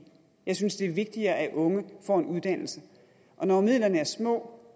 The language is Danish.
jeg synes det er vigtigere at unge får en uddannelse og når midlerne er små